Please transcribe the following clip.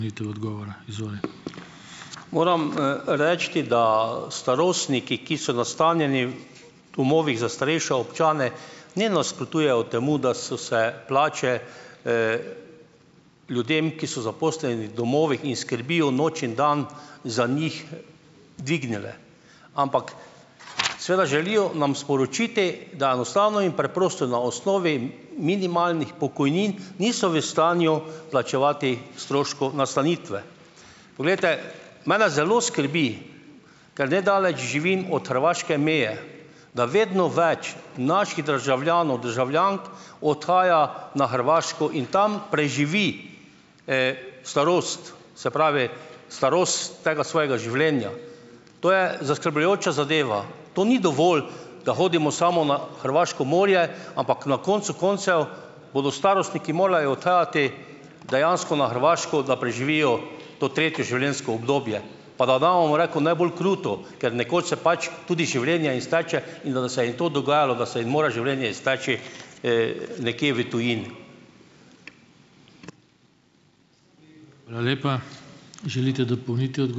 Moram, reči, da, starostniki, ki so nastanjeni v domovih za starejše občane, ne nasprotujejo temu, da so se plače, ljudem, ki so zaposleni v domovih in skrbijo noč in dan za njih, dvignile. Ampak seveda želijo nam sporočiti, da enostavno in preprosto na osnovi minimalnih pokojnin niso v stanju plačevati stroškov nastanitve. Poglejte, mene zelo skrbi, ker nedaleč živim od hrvaške meje, da vedno več naših državljanov, državljank, odhaja na Hrvaško in tam preživi, starost, se pravi, starost tega svojega življenja. To je zaskrbljujoča zadeva. To ni dovolj, da hodimo samo na hrvaško morje, ampak na koncu koncev bodo starostniki morajo odhajati dejansko na Hrvaško, da preživijo to tretje življenjsko obdobje, pa da damo, bom rekel, najbolj kruto, ker nekoč se pač tudi življenje izteče, in da da se jim to dogajalo, da se jim mora življenje izteči, nekje v tujini.